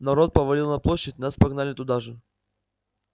народ повалил на площадь нас погнали туда же